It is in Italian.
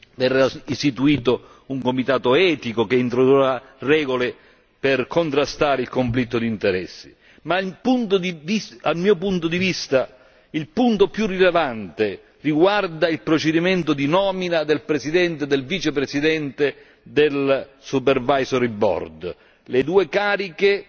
Verrà istituito un comitato etico che introdurrà regole per contrastare il conflitto di interessi, ma, dal mio punto di vista, l'elemento più rilevante riguarda il procedimento di nomina del presidente e del vicepresidente del supervisory board due cariche